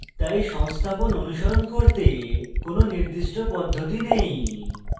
তাই সংস্থাপন অনুসরণ করতে কোনো নির্দিষ্ট পদ্ধতি নেই